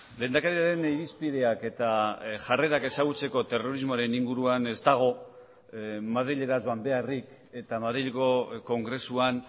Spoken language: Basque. lehendakariaren irizpideak eta jarrerak ezagutzeko terrorismoaren inguruan ez dago madrilera joan beharrik eta madrilgo kongresuan